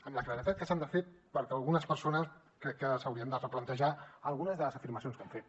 amb la claredat que s’han de fer perquè algunes persones crec que s’haurien de replantejar algunes de les afirmacions que han fet